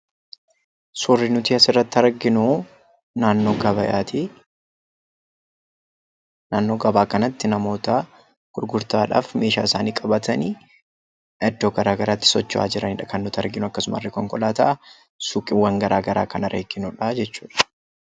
Suurri nuti asirratti arginuu, naannoo gabaati. Naannoo gabaa kanatti namoota gurgurtaadhaaf meeshaa isaanii qabatanii iddoo garaagaraatti socho'aa jiranidha kan nuti arginu akkasumas konkolaataa suuqiiwwan garaagaraa kanarra ittiin oofanidha jechuudha.